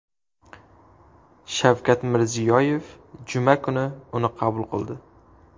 Shavkat Mirziyoyev juma kuni uni qabul qildi .